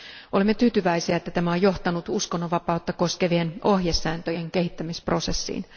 Olemme tyytyväisiä, että tämä on johtanut uskonnonvapautta koskevien ohjesääntöjen kehittämisprosessiin.